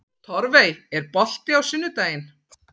Torfey, er bolti á sunnudaginn?